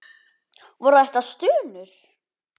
Voru þetta stunur?